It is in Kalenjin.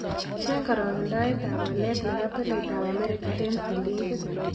Cheng karagendoetap walet ne po tolaitap amerika eng' silingit